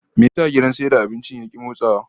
Me yasa gidan sayar da abincin ya ki motsawa?